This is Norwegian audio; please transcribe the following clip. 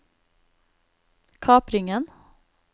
kapringen